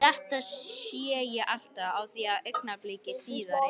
Þetta sé ég alltaf á því að augnabliki síðar er